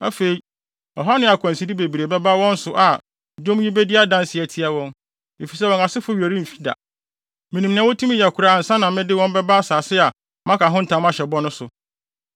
Afei, ɔhaw ne akwanside bebree ba wɔn so a, dwom yi bedi adanse atia wɔn, efisɛ wɔn asefo werɛ remfi da. Minim nea wotumi yɛ koraa ansa na mede wɔn bɛba asase a maka ho ntam ahyɛ bɔ no so.”